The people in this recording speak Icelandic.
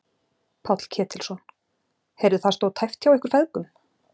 Páll Ketilsson: Heyrðu það stóð tæpt hjá ykkur feðgum?